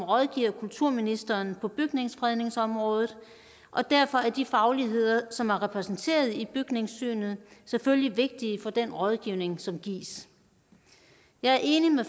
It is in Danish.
rådgiver kulturministeren på bygningsfredningsområdet og derfor er de fagligheder som er repræsenteret i bygningssynet selvfølgelig vigtige for den rådgivning som gives jeg er enig med